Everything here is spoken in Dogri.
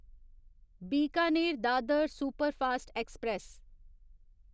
Bikaner Dadar superfast express